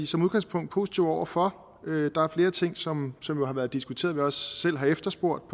som udgangspunkt positive over for der er flere ting som som har været diskuteret og selv har efterspurgt